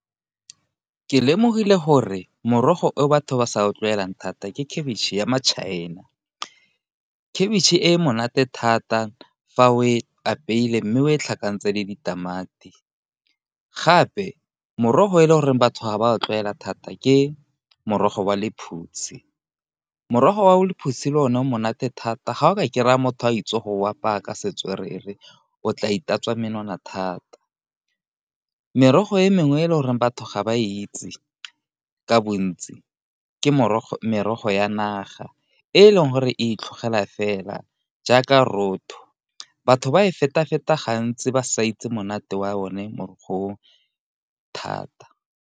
Ke lemogile gore morogo o batho ba sa a tlwaelang thata ke khabitšhe ya maChina, khabitšhe e monate thata fa o e apeilwe mme o e tlhokantse le ditamati, gape morogo e le goreng batho ga ba tlwaela thata ke morogo wa lephutsi morogo wa lephutse le o ne o monate thata ga o ka kry-a motho a itse go apaya ka setswerere o tla itatswa menwana thata. Merogo e mengwe e le goreng batho ga ba itse ka bontsi ke merogo ya naga, e leng gore e itlhogela fela jaaka rotho batho ba e feta-feta gantsi ba sa itse monate wa one morogo o thata.